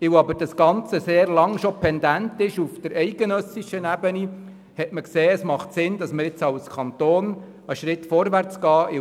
Weil jedoch das Ganze auf eidgenössischer Ebene schon sehr lange pendent ist, fand man es sinnvoll, als Kanton einen Schritt vorwärtszugehen;